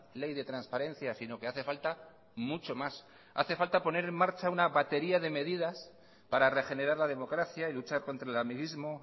ley de transparencia sino que hace falta mucho más hace falta poner en marcha una batería de medidas para regenerar la democracia y luchar contra el amiguismo